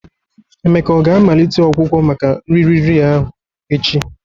Eme ọ ga-amalite ọgwụgwọ maka nri riri ahụ echi?